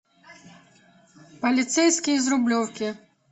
полицейский из рублевки